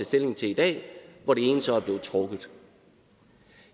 stilling til i dag hvor det ene så er blevet trukket